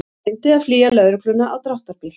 Reyndi að flýja lögregluna á dráttarbíl